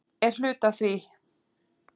Er hluti af því?